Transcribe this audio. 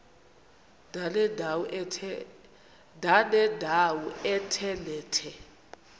ndanendawo ethe nethe